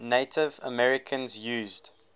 native americans used